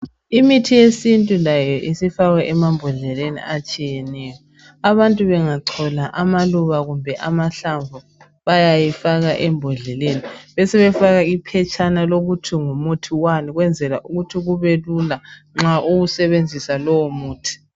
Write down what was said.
Imithi yesintu layo isifakwa emambodleleni atshiyeneyo. Abantu bengachola amaluba kumbe amahlamvu bayayifaka embodleleni besefaka iphetshana lokuthi ngumuthi wani kwenzela ukuthi kubelula nxa uwusebenzisa lo muthi.